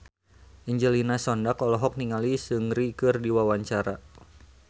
Angelina Sondakh olohok ningali Seungri keur diwawancara